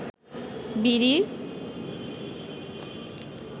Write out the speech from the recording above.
বিড়ি